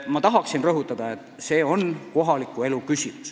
Ma rõhutan, et see on kohaliku elu küsimus.